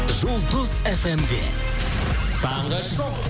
жұлдыз фмде таңғы шоу